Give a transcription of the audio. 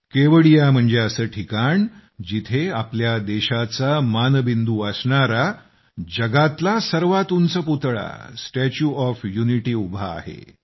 केवडीया म्हणजे असे ठिकाण जिथे आपल्या देशाचा मानबिंदू असणारा जगातला सर्वात उंच पुतळा स्टॅच्यू ऑफ युनिटी उभा आहे